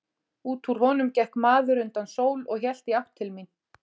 Út úr honum gekk maður undan sól og hélt í átt til mín.